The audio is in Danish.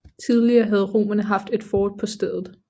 Tidligere havde romerne haft et fort på stedet